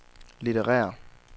litterære